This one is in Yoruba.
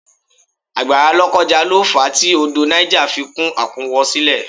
Àgbàrá lokoja lo fa tí odò Niger fi kún àkúnwọ́sílẹ̀